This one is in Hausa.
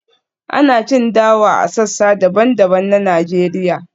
ana cin dawa a sassa daban-daban na Najeriya